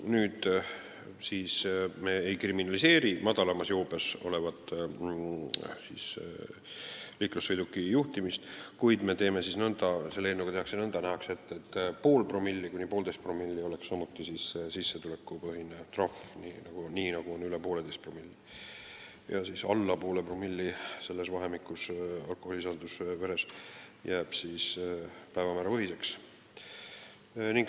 Nüüd me ei kriminaliseeri kergemas joobes toimunud sõidukijuhtimist, kuid selle eelnõuga nähakse ette, et kui alkoholisisaldus on 0,5–1,5 promilli, siis oleks samuti sissetulekupõhine trahv, nii nagu on üle 1,5-promillise joobe korral, ja kui alkoholisisaldus veres on alla 0,5 promilli, siis jääb trahv päevamäärapõhiseks.